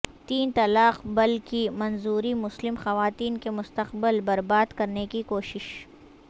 تین طلاق بل کی منظوری مسلم خواتین کے مستقبل برباد کرنے کی کوشش